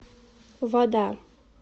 вода